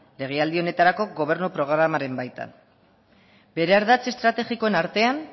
legealdi honetarako gobernu programaren baitan bere ardatz estrategikoen artean